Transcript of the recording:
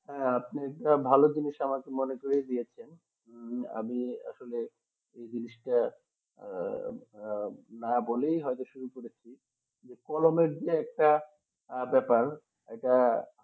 আপনি তো ভালো জিনিস আমাকে মনে দিয়েছেন আমি আসলে এই জিনিসটা না আহ বলেই শুরু করেছি যে কলমের যে একটা ব্যাপার এটা